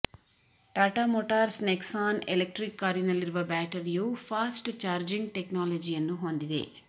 Tata Motors Nexon electric ಕಾರಿನಲ್ಲಿರುವ ಬ್ಯಾಟರಿಯು fast charging ಟೆಕ್ನಾಲಜಿಯನ್ನು ಹೊಂದಿದೆ